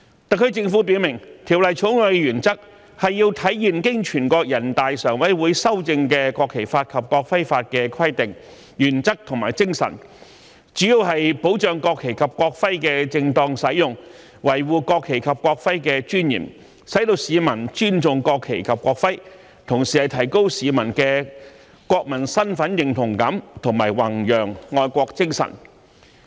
特區政府表明，《條例草案》的原則是要體現經全國人大常委會修正的《國旗法》及《國徽法》的規定、原則和精神，主要是保障國旗及國徽的正當使用，維護國旗及國徽的尊嚴，使市民尊重國旗及國徽，同時提高市民的國民身份認同感和弘揚愛國精神。